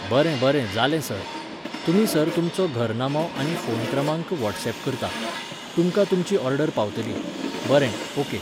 बरें बरें जालें सर. तुमी सर तुमचो घर नामो आनी फोन क्रमांक वॉट्सएप करतां. तुमकां तुमची ऑर्डर पावतली.बरें, ऑके.